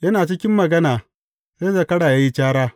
Yana cikin magana, sai zakara ya yi cara.